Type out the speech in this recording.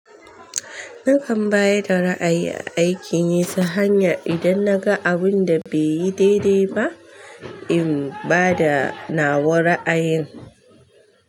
Nakan bayar da ra'ayi a aikin yi ta hanya idan naga abun da bai yi daidai ba, in ba da nawa ra'ayin.